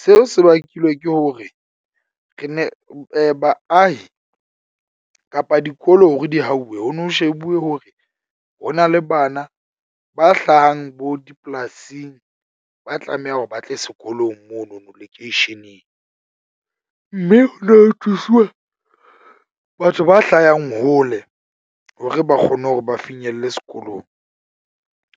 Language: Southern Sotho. Seo se bakilwe ke hore re ne baahi kapa dikolo hore di hauwe ho no shebuwe hore ho na le bana ba hlahang bo dipolasing. Ba tlameha hore ba tle sekolong mono no lekeisheneng mme ho no thusuwa batho ba hlayang hole, hore ba kgone hore ba kgone hore ba finyelle sekolong.